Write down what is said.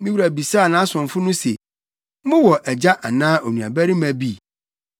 Me wura bisaa nʼasomfo no se, ‘Mowɔ agya anaa onuabarima bi?’